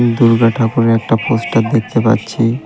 দুর্গা ঠাকুরের একটা পোস্টার দেখতে পাচ্ছি .